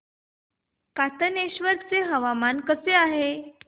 कातनेश्वर चे आज हवामान कसे आहे